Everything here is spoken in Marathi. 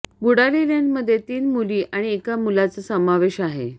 बुडालेल्यांमध्ये तीन मुली आणि एका मुलाचा समावेश आहे